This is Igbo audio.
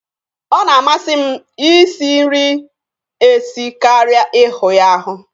Ọ na-amasi m Ị si nri esi karịa Ị hụ ya ahụ.